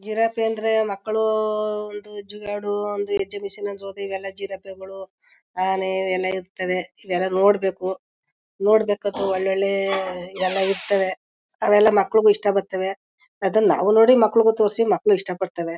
ಚಿರತೆ ಅಂದ್ರೆ ಮಕ್ಕಳೂ ಒಂದು ಎರಡು ಎಗ್ಜಿಮಿಶಿನ್ ಅಂತ ಹೋದ್ರೆ ಈಗೆಲ್ಲ ಜಿರಾಫೆ ಗಳು ಆನೆ ಎಲ್ಲ ಇರ್ತವೆ ಇದೆಲ್ಲ ನೋಡ್ಬೇಕು ನೋಡ್ಬೇಕು ಎಲ್ಲ ಒಳ್ಳೆಳ್ಳೆ ಎಲ್ಲ ಇರ್ತವೆ ಅವೆಲ್ಲ ಮಕ್ಳುಗೂ ಇಷ್ಟ ಬತ್ತವೆ ಅದುನ್ ನಾವು ನೋಡಿ ಮಕ್ಳುಗೂ ತೋರ್ಸಿ ಮಕ್ಳು ಇಷ್ಟ ಪಡ್ತವೆ.